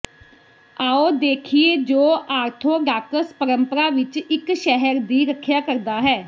ਆਓ ਦੇਖੀਏ ਜੋ ਆਰਥੋਡਾਕਸ ਪਰੰਪਰਾ ਵਿਚ ਇੱਕ ਸ਼ਹਿਰ ਦੀ ਰੱਖਿਆ ਕਰਦਾ ਹੈ